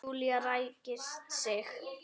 Júlía ræskir sig.